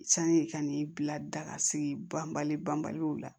Sani ka n'i bila daga sigi ban banbaliw la